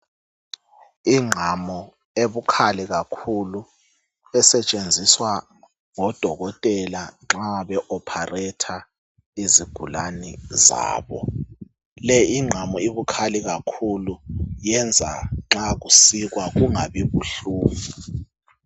Ingqamu ebukhali kakhulu esetshenziswa ngabodokotela nxa be operate izigulani zabo le ingqamu ibikhali kakhulu yenza nxa kusikwa kungabi buhlungu